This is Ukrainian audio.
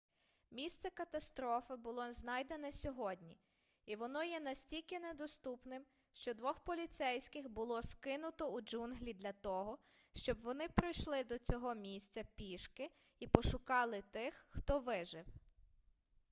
місце катастрофи було знайдене сьогодні і воно є настільки недоступним що двох поліцейських було скинуто у джунглі для того щоб вони пройшли до цього місця пішки і пошукали тих хто вижив